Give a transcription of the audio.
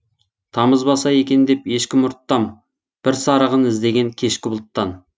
тамызбаса екен деп ешкім ұрттам бір сарығын іздеген кешкі бұлттан